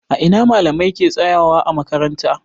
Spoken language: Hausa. A ina malamai ke tsayawa ã makaranta?